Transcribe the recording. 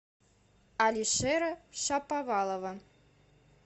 алишера шаповалова